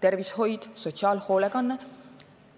tervishoid ja sotsiaalhoolekanne